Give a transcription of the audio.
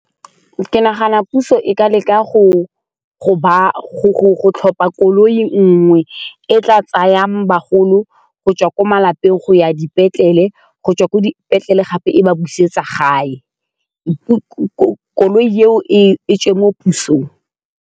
Ke nagana puso e ka leka go tlhopa koloi nngwe e tla tsayang bagolo go tswa ko malapeng go ya dipetlele gobtswa ko dipetlele gape e ba busetsa gae koloi eo e tswe mo pusong.